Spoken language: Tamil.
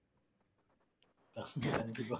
கண்டிப்பா